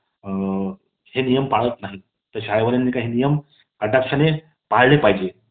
अ ... हे नियम पळत नाहीत . तर शाळेमध्ये हे नियम कटाक्षाने पळाले पाहिजेत .